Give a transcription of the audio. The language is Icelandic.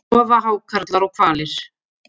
sofa hákarlar og hvalir